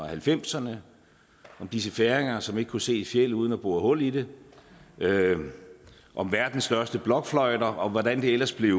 halvfemserne om disse færinger som ikke kunne se et fjeld uden at bore hul i det om verdens største blokfløjter og hvordan det ellers blev